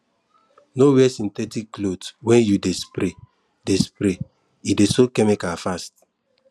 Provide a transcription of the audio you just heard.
no wear synthetic cloth when you dey spray dey spray e dey soak chemical fast